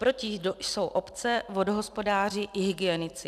Proti jsou obce, vodohospodáři i hygienici.